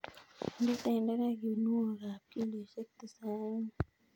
Inde tenderek kinuokab kilosiek tisaini.